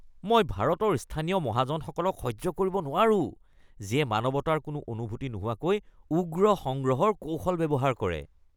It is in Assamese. মই ভাৰতৰ স্থানীয় মহাজনসকলক সহ্য কৰিব নোৱাৰো যিয়ে মানৱতাৰ কোনো অনুভূতি নোহোৱাকৈ উগ্ৰ সংগ্ৰহৰ কৌশল ব্যৱহাৰ কৰে।